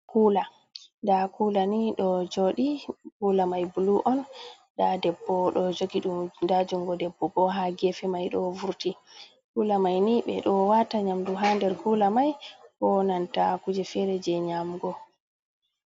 Kula nda Kulani ɗo Jodi, Kula Mai Bulu'on nda Debbo ɗo Jogi ɗum nda Jungo Debbo, bo ha Gefe mai ɗo Vurti, Kula mai ni ɓe ɗo Wata Nyamdu ha nder Kula maibo Nanta Kuje Fere je Nyamgo.